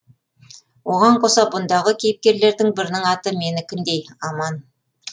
оған қоса бұндағы кейіпкерлердің бірінің аты менікіндей аман